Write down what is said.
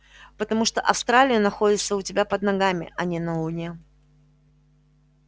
потому что австралия находится у тебя под ногами а не на луне